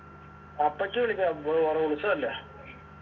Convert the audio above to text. അപ്പച്ചി വിളിച്ചാ ഓറെ ഉത്സവല്ലേ